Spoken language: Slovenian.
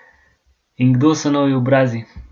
In kdo so novi obrazi?